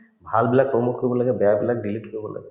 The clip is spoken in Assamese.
ভাল বিলাক কৰিব লাগে বেয়াবিলাক delete কৰিব লাগে